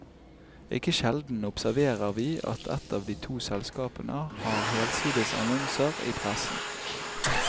Ikke sjelden observerer vi at ett av de to selskapene har helsides annonser i pressen.